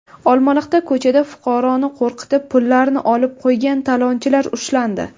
Olmaliqda ko‘chada fuqaroni qo‘rqitib, pullarini olib qo‘ygan talonchilar ushlandi.